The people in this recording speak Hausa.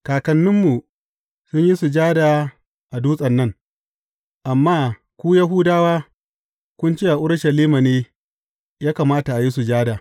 Kakanninmu sun yi sujada a dutsen nan, amma ku Yahudawa kun ce a Urushalima ne ya kamata a yi sujada.